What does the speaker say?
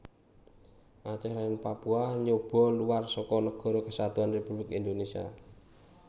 Aceh lan Papua nyoba luwar seka Nagara Kesatuan Républik Indonésia